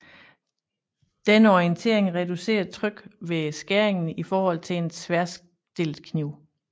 Denne orientering reducerer trykket ved skæringen i forhold til en tværstillet kniv